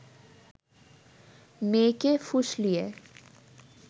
মেয়েকে ফুসলিয়ে